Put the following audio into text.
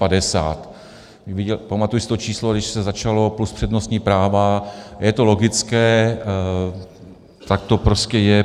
Pamatuji si to číslo, když se začalo, plus přednostní práva, je to logické, tak to prostě je.